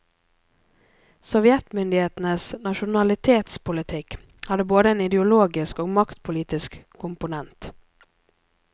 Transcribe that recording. Sovjetmyndighetenes nasjonalitetspolitikk hadde både en ideologisk og maktpolitisk komponent.